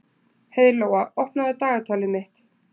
Heiðlóa, opnaðu dagatalið mitt.